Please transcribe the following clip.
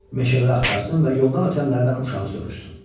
Meşələri axtarsın və yoldan ötənlərdən uşağı soruşsun.